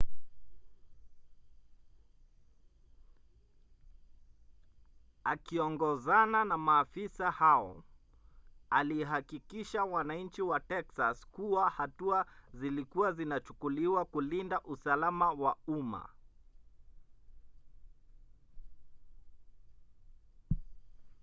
akiongozana na maafisa hao alihakikishia wananchi wa texas kuwa hatua zilikua zinachukuliwa kulinda usalama wa umma